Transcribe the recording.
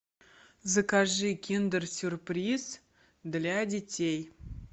закажи киндер сюрприз для детей